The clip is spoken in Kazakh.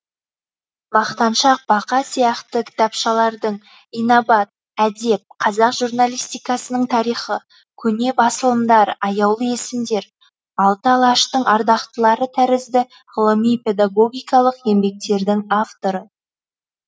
мақтаншақ бақа сияқты кітапшалардың инабат әдеп қазақ журналистикасының тарихы көне басылымдар аяулы есімдер алты алаштың ардақтылары тәрізді ғылыми педагогикалық еңбектердің авторы